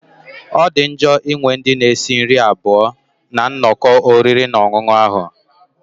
Ọ dị njọ ịnwe ndị na-esi nri abụọ na nnọkọ oriri na ọṅụṅụ ahu?